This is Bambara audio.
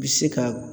Bi se ka